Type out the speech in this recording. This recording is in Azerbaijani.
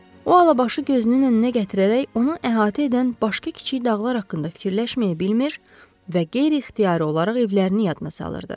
O Alabaşı gözünün önünə gətirərək onu əhatə edən başqa kiçik dağlar haqqında fikirləşməyi bilmir və qeyri-ixtiyari olaraq evlərini yadına salırdı.